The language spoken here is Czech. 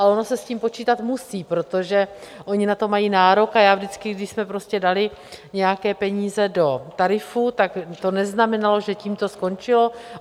Ale ono se s tím počítat musí, protože oni na to mají nárok, a já vždycky, když jsme prostě dali nějaké peníze do tarifu, tak to neznamenalo, že tím to skončilo.